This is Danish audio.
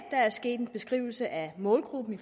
er sket en beskrivelse af målgruppen i